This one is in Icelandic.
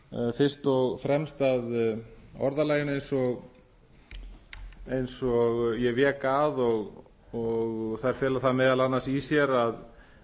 fyrst og fremst að orðalaginu eins og ég vék að og þær fela það meðal annars í sér